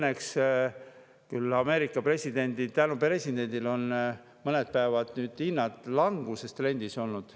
Praegu küll tänu Ameerika presidendile on õnneks mõned päevad hinnad langustrendis olnud.